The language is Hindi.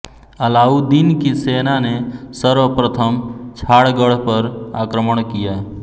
अलाउद्दीन की सेना ने सर्वप्रथम छाणगढ़ पर आक्रमण किया